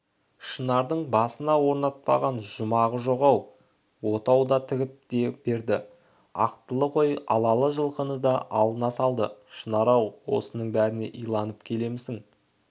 шынардың басына орнатпаған жұмағы жоқ ақ отау да тігіп берді ақтылы қой алалы жылқыны да алдына салды шынар-ау осының бәріне иланып келемісің